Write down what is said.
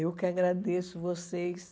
Eu que agradeço vocês.